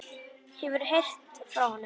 Hefurðu ekkert heyrt frá honum?